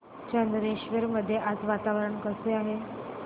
चंदनेश्वर मध्ये आज वातावरण कसे आहे